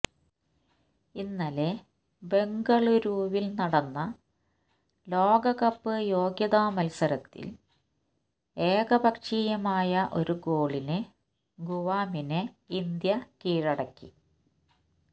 ഇന്നലെ ബെംഗളൂരുവിൽ നടന്ന ലോകകപ്പ് യോഗ്യതാ മത്സരത്തിൽ ഏകപക്ഷീയമായ ഒരു ഗോളിന് ഗുവാമിനെ ഇന്ത്യ കീഴടക്കി